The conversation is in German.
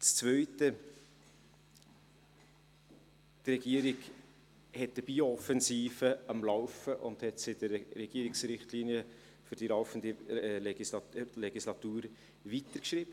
Das zweite: Die Regierung hat eine Biooffensive am Laufen und hat das in den Regierungsrichtlinien für die laufende Legislatur weitergeschrieben.